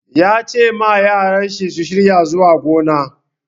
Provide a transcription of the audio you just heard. Ya ce ma yaran shi su shirya zuwa gona.